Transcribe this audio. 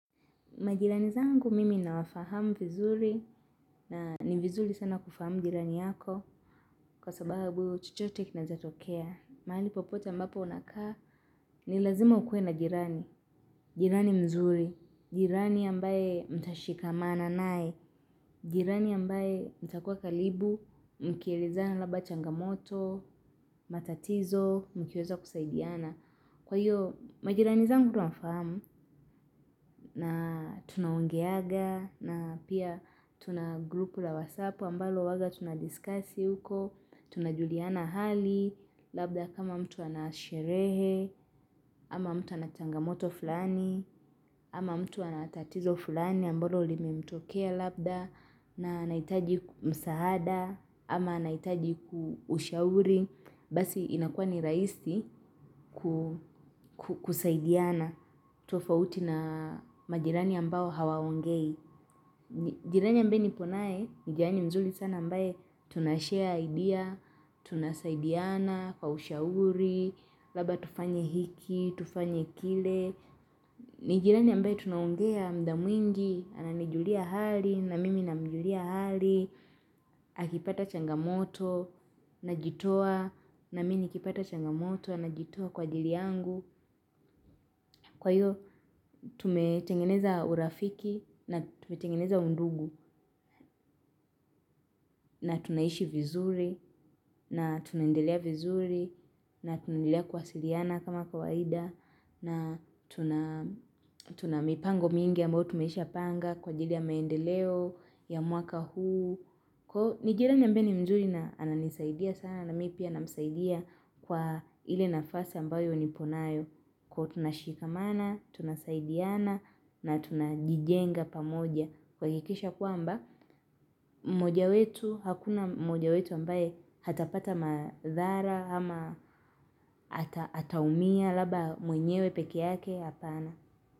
Majirani zangu mimi nawafahamu vizuri na ni vizuri sana kufahamu jirani yako kwa sababu chochote kinaezatokea. Mahali popote ambapo unakaa ni lazima ukue na jirani. Jirani mzuri, jirani ambaye mtashikamana nae, jirani ambaye mtakua kalibu, mkielezana labda changamoto, matatizo, mkiweza kusaidiana. Kwa hiyo, majirani zangu nafamu na tuna ongeaga na pia tuna grupu la wasapo ambalo uwaga tuna discussi huko, tuna juliana hali, labda kama mtu anasherehe, ama mtu anachangamoto fulani, ama mtu anatatizo fulani ambalo limemtokea labda, na anaitaji msaada, ama anaitaji ushauri, basi inakuwa ni raisi kusaidiana. Tofauti na majirani ambao hawaongei. Jirani ambaye niponaye. Ni jirani mzuri sana ambaye tunashare idea. Tunasaidiana kwa ushauri. Labda tufanye hiki. Tufanye kile. Ni jirani ambaye tunaongea mda mwingi. Ananijulia hali na mimi namjulia hali akipata changamoto Najitoa. Na mimi nikipata changamoto anajitoa kwa ajili yangu. Kwa hiyo tumetengeneza urafiki na tumetengeneza undugu na tunaishi vizuri na tunaendelea vizuri na tunaendelea kuwasiliana kama kawaida na tuna mipango mingi ambayo tumesha panga kwa ajili ya maendeleo ya mwaka huu. Ni jirani ambaye mzuri na ananisaidia sana na mi pia namsaidia kwa ile nafasi ambayo nipo nayo. Tunashikamana, tunasaidiana na tunajijenga pamoja. Kuhakikisha kuamba, mmoja wetu, hakuna mmoja wetu ambaye hatapata madhara ama hataumia labda mwenyewe peke yake hapana.